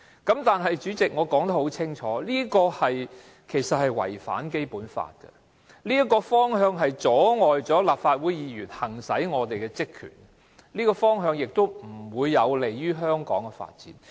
不過，代理主席，我已說得很清楚，這其實違反《基本法》，而這個方向不單阻礙立法會議員行使其職權，亦不利於香港的發展。